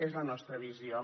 és la nostra visió